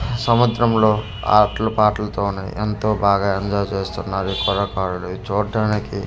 సముద్రం లో అట్లు పాటలతోని ఎంతో బాగా ఎంజాయ్ చేస్తున్నారు ఈ కుర్రకారుడు ఇది చూడటానికి--